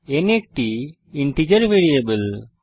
n একটি integer variable